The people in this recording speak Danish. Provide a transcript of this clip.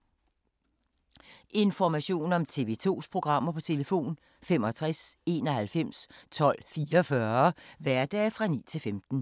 Information om TV 2's programmer: 65 91 12 44, hverdage 9-15.